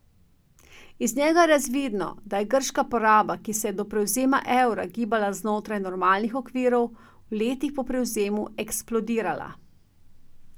Iz njega je razvidno, da je grška poraba, ki se je do prevzema evra gibala znotraj normalnih okvirov, v letih po prevzemu eksplodirala.